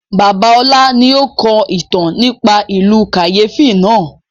Bàbá ọlá ni ó kọ ìtàn nípa ìlú kàyéfi náà